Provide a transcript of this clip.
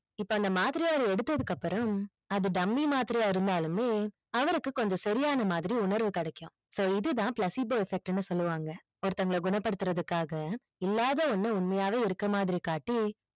இப்ப அந்த மாத்திரை அவரு எடுத்ததுக்கு அப்பறம் அது டம்மி இருந்தாலுமே அவருக்கு கொஞ்சம் சரியான மாதிரி உணர்வு கிடைக்கும் so இது தான் placebo effect னு சொல்லுவாங்க, ஒருத்தவங்கள குணப்படுத்துறதுக்காக இல்லாத ஒன்ன உண்மையாவே இருக்குற மாதிரி காட்ட